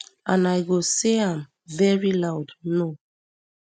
and i go say am veri loud no